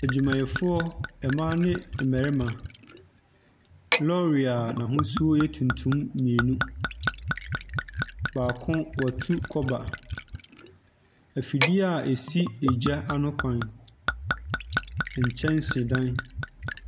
Adwumayɛfoɔ mmaa ne mmarima. Lɔɔre a n'ahosuo yɛ tuntum mmienu, baako, wɔatu kɔba. Afidie a ɛsi gya ano kwan. Nkyɛnsedan.